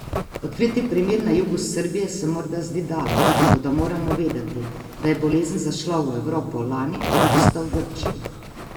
Odkriti primer na jugu Srbije se morda zdi daleč, toda moramo vedeti, da je bolezen zašla v Evropo lani avgusta v Grčiji.